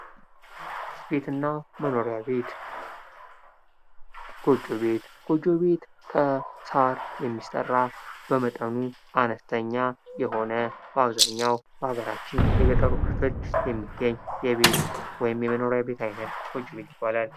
ቤትና መኖሪያ ቤት ጎጆ ቤት ጎጆ ቤት ከሳር የሚሠራ በመጠኑ አነስተኛ የሆነ በአብዛኛው የሀገራችን የገጠሩ ክፍል የሚገኝ የቤት ወይም የመኖሪያ ቤት አይነት ጎጆ ቤት ይባላል።